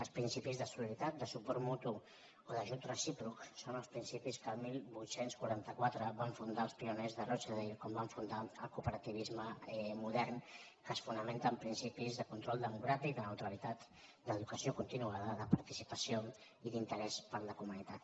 els principis de solidaritat de suport mutu o d’ajut recíproc són els principis que el divuit quaranta quatre van fundar el pioners de rochdale quan van fundar el cooperativisme modern que es fonamenta en principis de control democràtic de neutralitat d’educació continuada de participació i d’interès per la comunitat